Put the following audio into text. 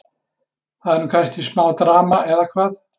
Það er nú kannski smá drama, eða hvað?